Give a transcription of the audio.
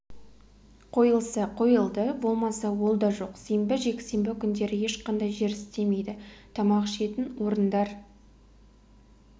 қойылса қойылды болмаса ол да жоқ сенбі жексенбі күндері ешқандай жер істемейді тамақ ішетін орындар